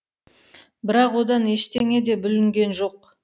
бірақ одан ештеңе де бүлінген жоқ